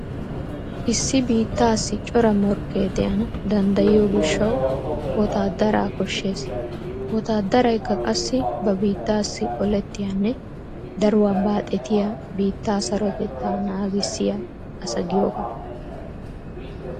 Issi biittaassi cora morkkee de'ana danddayiyo gishshawu wotaaddaraa koshshees. Wotaaddarykka qassi ba biittaassi olettiyanne daruwa baaxetiya biittaa sarotettaa naagissiya asa giyogaa.